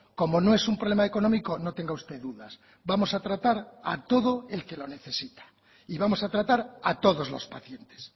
como no es un problema económico no tenga usted dudas vamos a tratar a todo el que lo necesita y vamos a tratar a todos los pacientes